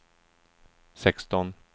sexton